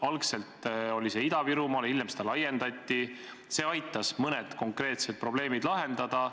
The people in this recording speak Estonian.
Algul oli see Ida-Virumaal, hiljem seda laiendati, see aitas mõned konkreetsed probleemid lahendada.